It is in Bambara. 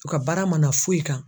U ka baara mana foyi kan.